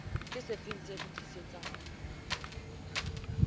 ke sefeng se re tlisetsang